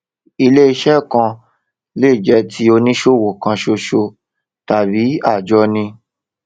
iléiṣẹ kan lè jẹ ti oníṣòwò kan ṣoṣo tàbí àjọni